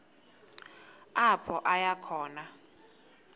apho aya khona